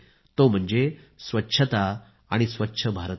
हा विषय आहे स्वच्छता आणि स्वच्छ भारताचा